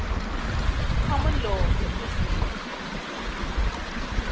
common law systems